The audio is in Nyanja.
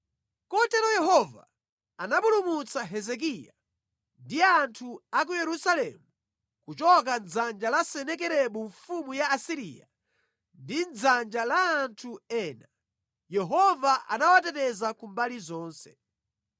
Kotero Yehova anapulumutsa Hezekiya ndi anthu a ku Yerusalemu kuchoka mʼdzanja la Senakeribu mfumu ya ku Asiriya ndi mʼdzanja la anthu ena. Yehova anawateteza ku mbali zonse.